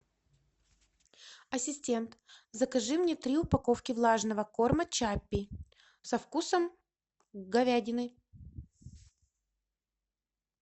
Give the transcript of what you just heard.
ассистент закажи мне три упаковки влажного корма чаппи со вкусом говядины